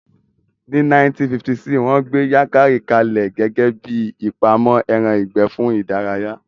Ní 1956, wón gbé Yankari ka lẹ̀ gẹ́gẹ́bíi ibi ìpamọ́ ẹran ìgbẹ́ fún ìdárayá